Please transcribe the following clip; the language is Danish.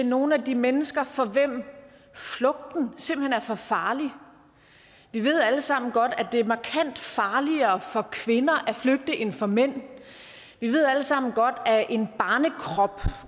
nogle af de mennesker for hvem flugten simpelt hen er for farlig vi ved alle sammen godt at det er markant farligere for kvinder at flygte end for mænd vi ved alle sammen godt at en barnekrop